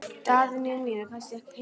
Daðína mín er kannski ekki heima?